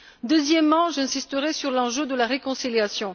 Troisièmement, j'insisterai sur l'enjeu de la réconciliation.